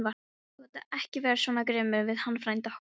Þú átt ekki vera svona grimmur við hann frænda okkar!